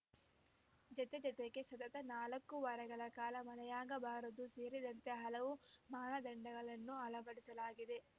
ಜತೆಗೆ ಜತೆಗೆ ಸತತ ನಾಲ್ಕು ವಾರಗಳ ಕಾಲ ಮಳೆಯಾಗಿರಬಾರದು ಸೇರಿದಂತೆ ಹಲವು ಮಾನದಂಡಗಳನ್ನು ಅಳವಡಿಸಲಾಗಿದೆ